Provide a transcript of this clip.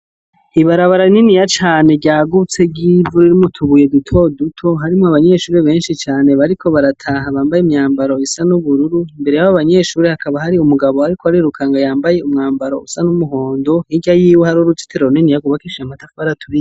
Ibarabara rininiya cane ryagutse ry'ivu ririmw'utubuye dutoduto harimw'abanyeshure benshi cane bariko barataha bambay'imyambaro isa n'ubururu , imbere yabo banyeshure hakaba hari umugabo arik'arirukanga yambay'umwambaro usa n'umuhondo, hirya yiwe har'uruzitiro runiniya rwubakishijw'amatafar'aturiye.